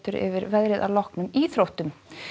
yfir veðrið að loknum íþróttum